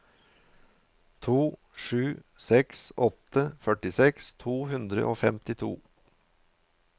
to sju seks åtte førtiseks to hundre og femtito